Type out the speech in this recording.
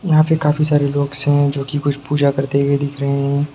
यहाँ पे काफी सारे लॉक्स है जो कि कुछ पूजा करते दिख रहे है।